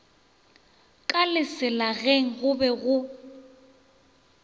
ka leselageng go be go